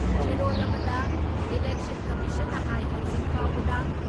ꯆꯦꯔꯣꯜ ꯑꯃꯗ ꯏꯂꯦꯛꯁꯟ ꯀꯝꯃꯤꯁꯟꯅ ꯍꯥꯏ ꯍꯧꯖꯤꯛ ꯐꯥꯎꯕꯗ